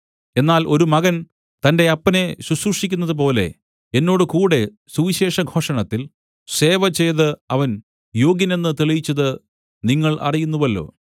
എന്നാൽ ഒരു മകൻ തന്റെ അപ്പനെ ശുശ്രൂഷിക്കുന്നതുപോലെ എന്നോടുകൂടെ സുവിശേഷഘോഷണത്തിൽ സേവചെയ്ത് അവൻ യോഗ്യനെന്ന് തെളിയിച്ചത് നിങ്ങൾ അറിയുന്നുവല്ലോ